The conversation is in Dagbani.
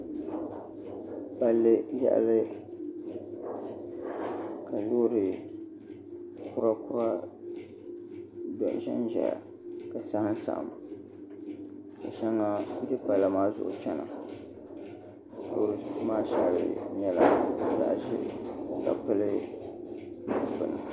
Palli yaɣali ka loori kura kura ʒɛnʒɛya ka saɣam saɣam ka shɛŋa bɛ palli maa zuɣu chɛna loori nim maa shɛli nyɛla zaɣ ʒiɛ ka pili bini